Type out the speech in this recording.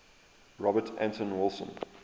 robert anton wilson